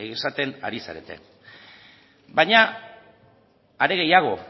esaten ari zarete baina hare gehiago